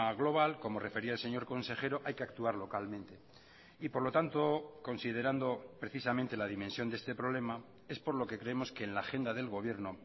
global como refería el señor consejero hay que actuar localmente y por lo tanto considerando precisamente la dimensión de este problema es por lo que creemos que en la agenda del gobierno